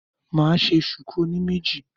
Màá ṣe ṣùkú oní méjì